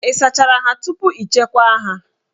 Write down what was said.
Ị sachachara ha tupu ị chekwaa ha